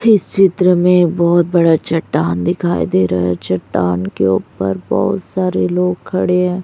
इस चित्र में बहुत बड़ा चट्टान दिखाई दे रहा है चट्टान के ऊपर बहुत सारे लोग खड़े हैं।